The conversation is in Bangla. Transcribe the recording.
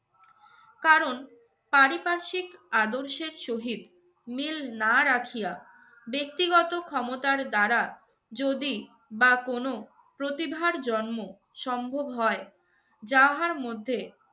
কারণ পারিপার্শ্বিক আদর্শের সহিত মিল না রাখিয়া ব্যক্তিগত ক্ষমতার দ্বারা যদি বা কোনো প্রতিভার জন্ম সম্ভব হয় যাহার মধ্যে